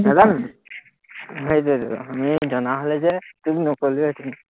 নাজানোতো, সেইটোৱেইতো, আমি জনা হ'লে যে তোক নকলোৱেহেতেন